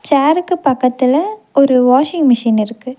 சேருக்கு பக்கத்துல ஒரு washing machine இருக்கு.